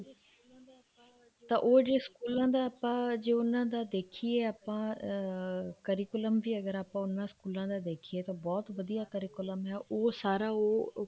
ਤਾਂ ਉਹ ਜੇ ਸਕੂਲਾਂ ਦਾ ਆਪਾਂ ਜੇ ਉਹਨਾ ਦਾ ਦੇਖੀਏ ਆਪਾਂ ਅਮ curriculum ਵੀ ਹੈਗਾ ਅਗਰ ਆਪਾਂ ਉਹਨਾ ਦਾ ਦੇਖੀਏ ਤਾਂ ਬਹੁਤ ਵਧੀਆ curriculum ਹੈ ਉਹ ਸਾਰਾ ਉਹ